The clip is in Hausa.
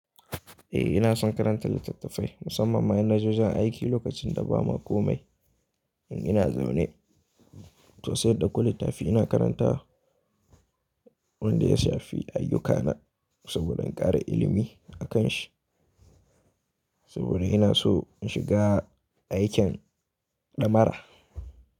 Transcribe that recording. Eh ina son karantar littattafai musamman ma in na je wajen aiki lokacin da ba ma komai in ina zaune. To sai in dauko littafi ina karanta, wanda ya shafi ayyuka na saboda in ƙara ilimi akan shi. Saboda ina so in shiga aikin ɗamara.